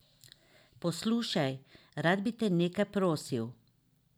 Poslušaj, rad bi te nekaj prosil.